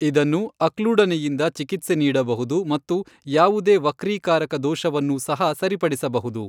ಇದನ್ನು ಅಕ್ಲೂಡನೆಯಿಂದ ಚಿಕಿತ್ಸೆ ನೀಡಬಹುದು ಮತ್ತು ಯಾವುದೇ ವಕ್ರೀಕಾರಕ ದೋಷವನ್ನೂ ಸಹ ಸರಿಪಡಿಸಬಹುದು.